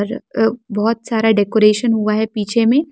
अ अव बहोत सारा डेकोरेशन हुआ है पीछे में --